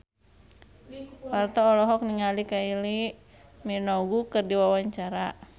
Parto olohok ningali Kylie Minogue keur diwawancara